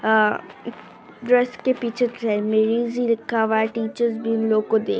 आ जो इसके पीछे लिखा हुआ है टीचर भी इन लोगको देख--